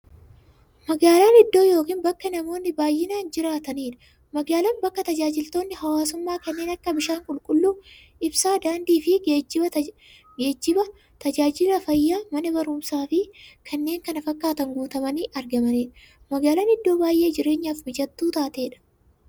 Magaalan iddoo yookiin bakka namoonni baay'inaan jiraataniidha. Magaalan bakka taajajilootni hawwaasummaa kanneen akka; bishaan qulqulluu, ibsaa, daandiifi geejjiba, taajajila fayyaa, Mana baruumsaafi kanneen kana fakkatan guutamanii argamaniidha. Magaalaan iddoo baay'ee jireenyaf mijattuu taateedha.